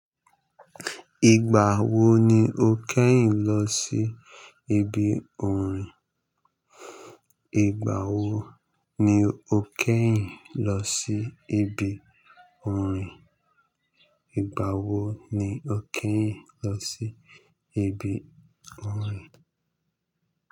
Ìgbà wo ni o kẹ́yìn lọ sí ibi orin? Ti ibi orín. Ìgbà wo ni o kì í lọ sí ibi orin?